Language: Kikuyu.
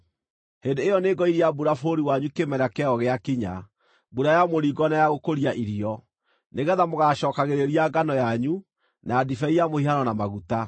hĩndĩ ĩyo nĩngoiria mbura bũrũri wanyu kĩmera kĩayo gĩakinya, mbura ya mũringo na ya gũkũria irio, nĩgeetha mũgaacookagĩrĩria ngano yanyu, na ndibei ya mũhihano na maguta.